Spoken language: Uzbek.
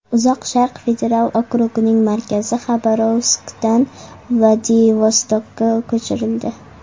Uzoq Sharq federal okrugining markazi Xabarovskdan Vladivostokka ko‘chirildi.